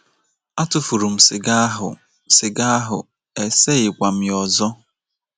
Atụfuru m siga ahụ, siga ahụ, eseghikwa m ya ọzọ.